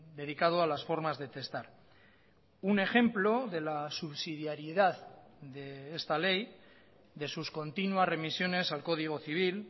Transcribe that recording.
dedicado a las formas de testar un ejemplo de la subsidiaridad de esta ley de sus continuas remisiones al código civil